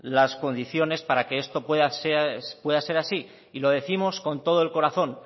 las condiciones para que esto pueda ser así y lo décimos con todo el corazón